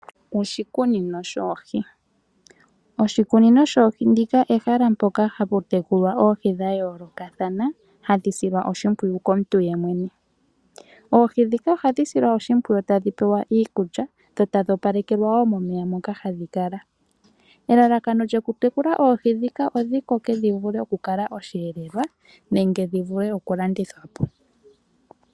Oshikunino shoohi Oshikunino shoohi ndika ehala mpoka hapu tekulwa oohi dha yoolokathana hadhi silwa oshimpwiyu komuntu yemwene. Oohi ndhika ohadhi silwa oshimpwiyu tadhi pewa iikulya dho tadhi opalekelwa wo mpoka momeya moka hadhi kala. Elalakano lyokutekula oohi ndhika odhi koke dhi vule okukala osheelelwa nenge dhi vule okulandithwa po.